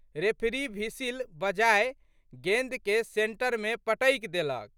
Referee whistle बजाए गेंदके सेंटरमे पटकि देलक।